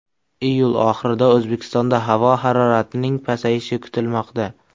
Iyul oxirida O‘zbekistonda havo haroratining pasayishi kutilmoqda.